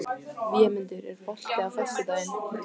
Vémundur, er bolti á föstudaginn?